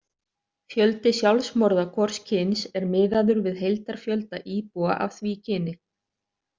Fjöldi sjálfsmorða hvors kyns er miðaður við heildarfjölda íbúa af því kyni.